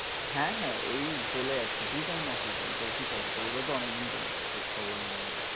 হ্যাঁ হ্যাঁ এই চলে যাচ্ছে, তুই কেমন আছিস বল, তোর কি খবর? তোর ও তো অনেকদিন কোনো খোজ খবর নেই।